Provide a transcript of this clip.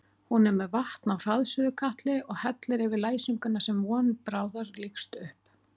Hún er með vatn á hraðsuðukatli og hellir yfir læsinguna sem von bráðar lýkst upp.